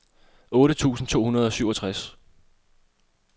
otte tusind to hundrede og syvogtres